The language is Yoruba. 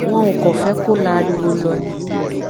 wọn ò kàn fẹ kó la ariwo lọ ni